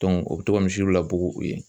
o bɛ to ka misiw labugun yen